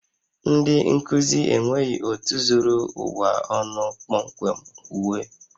Ndị nkuzi enweghị otu zuru ụwa ọnụ kpọmkwem uwe